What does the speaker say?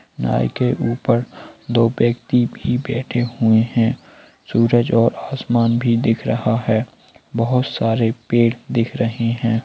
नाइ के ऊपर दो व्यक्ति भी बैठे हुए है सूरज और आसमान भी दिख रहा है बोहोत सारे पेड़ दिख रहे है।